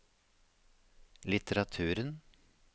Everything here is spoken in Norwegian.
litteraturen